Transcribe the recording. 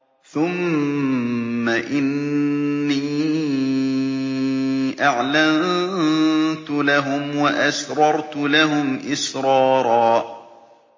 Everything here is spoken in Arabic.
ثُمَّ إِنِّي أَعْلَنتُ لَهُمْ وَأَسْرَرْتُ لَهُمْ إِسْرَارًا